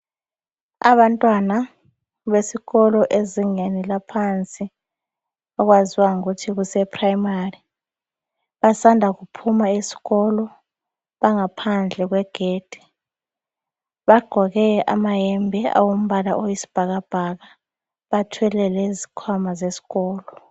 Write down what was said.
Abantwana besikolo ezingeni laphansi okwaziwa ngokuthi kuse primary basanda kuphuma esikolo bangaphandle kwegedi bagqoke amayembe awombala oyisibhakabhaka bathwele lezikhwama zesikolo.